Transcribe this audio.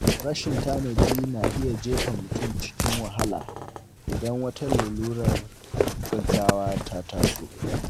Rashin tanadi na iya jefa mutum cikin wahala idan wata lalurar gaugawa ta taso.